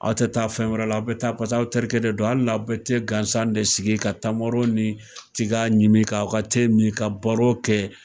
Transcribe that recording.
Aw tɛ taa fɛn wɛrɛ la, aw bi taa barisa aw terikɛ de don, hali n'a bi gansan de sigi, ka tamaro ni tiga ɲimi k'aw ka min ka baro kɛ.